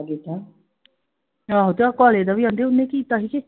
ਹਾਂ ਤੇ ਉਹ ਕਾਲੇ ਦਾ ਵੀ ਓਹਦਾ ਉਹਨੇ ਕੀਤਾ ਸੀ ਕੀ I